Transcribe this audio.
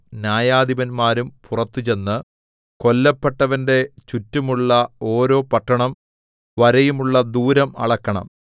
ന്യായധിപന്മാരും പുറത്ത് ചെന്ന് കൊല്ലപ്പെട്ടവന്റെ ചുറ്റുമുള്ള ഓരോ പട്ടണം വരെയുമുള്ള ദൂരം അളക്കണം